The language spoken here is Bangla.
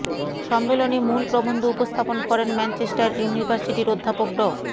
সম্মেলনে মূল প্রবন্ধ উপস্থাপন করেন ম্যানচেস্টার ইউনিভার্সিটির অধ্যাপক ড